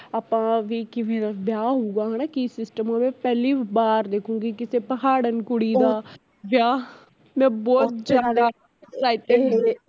ਆਪਾ ਵੀ ਕਿਵੇ ਦਾ ਵਿਆਹ ਹੋਊਗਾ ਹੈਨਾ ਕੀ system ਹੋਵੇ, ਪਹਿਲੀ ਵਾਰ ਦੇਖੂਗੀ ਕਿਸੇ ਪਹਾੜਣ ਕੁੜੀ ਦਾ ਵਿਆਹ, ਮੈਂ ਬਹੁਤ ਜਿਆਦਾ excited